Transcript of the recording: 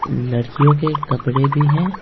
लड़कियों के कपड़े भी हैं --